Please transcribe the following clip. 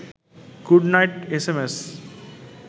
good night S M S